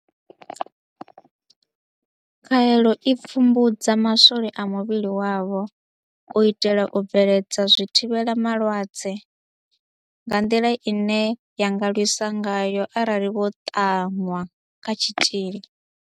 Khaelo i pfumbudza maswole a muvhili wavho ane a lwisa u kavhiwa, u itela u bveledza zwithivhela malwadze Phurotheini ine ya lwisa vhulwadze - nga nḓila ine ya nga lwisa ngayo arali vho ṱanwa kha tshitzhili.